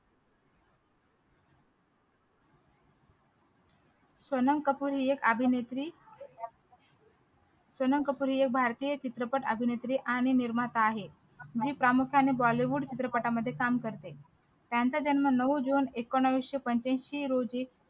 सोनम कपूर ही एक अभिनेत्री सोनम कपूर ही एक भारतीय चित्रपट अभिनेत्री आणि निर्माता आहे जी प्रामुख्याने bollywood चित्रपटांमध्ये काम करते त्यांचा जन्म नऊ जून एकोणीशे पंच्याऐंशी रोजी